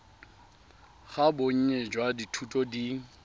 ga bonnye jwa dithuto di